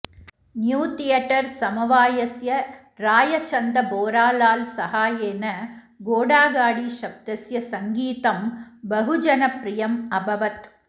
new theatre समवायस्य रायचन्द बोरालाल् सहायेन घोडा गाडी शब्दस्य सङ्गीतं बहुजनप्रियम् अभवत्